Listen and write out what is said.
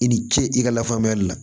I ni ce i ka lafaamuyali la